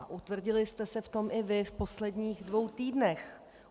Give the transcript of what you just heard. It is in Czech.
A utvrdili jste se v tom i vy v posledních dvou týdnech.